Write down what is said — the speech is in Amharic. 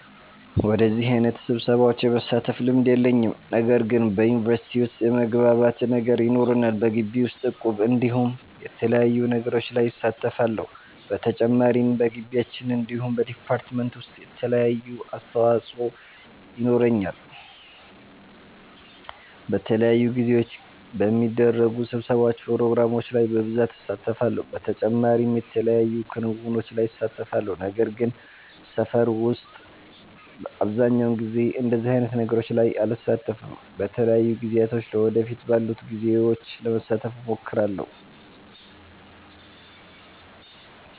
በደዚህ አይነት ስብሰሻዎች የመሳተፍ ልምድ የለኝም። ነገር ግን በዩኒቨርሲቲ ዉስጥ የመግባባት ነገር ይኖረናል። በጊቢ ዉስጥ እቁብ እንዲሁም የተለያዩ ነገሮች ላይ እሳተፋለሁ። በተጨማሪም በጊቢያችን እንዲሁም በ ዲፓርትመንት ዉሰጥ የተለያየ አስተዋፆ የኖረኛል። በተለያዩ ጊዜዎች በሚደረጉ ስብሰባዎች ፕሮግራሞች ላይ በብሳት እሳተፋለሁ። በተጨማሪም የተለያዩ ክንዉኖች ላይ እሳተፋለሁ። ነገር ግን በሰፈር ዉስጥ አብዘሃኛዉ ጊዜ እንደዚህ አይነት ነገሮች ላይ አልሳተፍም። በተለያዩ ጊዜያቶች ለ ወደፊት ባሉት ጊዜዎች ለመሳተፍ እሞክራለሁ